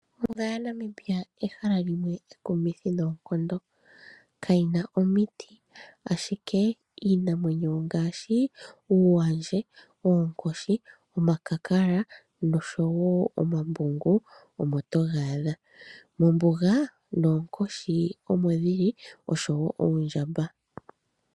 Ombuga ya Namibia ehala limwe ekumithi noonkondo. Kayina omiti ashike iinamwenyo ngaashi uuwandje, oonkoshi, omakakala noshowo omambungu omo toga adha. Mombuga noonkshi omodhili oshowo oondjamba.